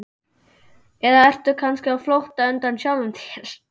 Eða ertu kannski á flótta undan sjálfum þér?